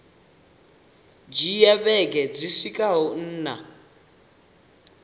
dzhia vhege dzi swikaho nṋa